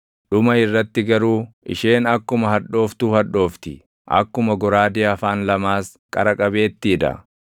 dhuma irratti garuu isheen akkuma hadhooftuu hadhoofti; akkuma goraadee afaan lamaas qara qabeettii dha.